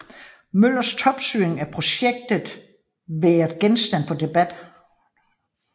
Møllers topstyring af projektet været genstand for debat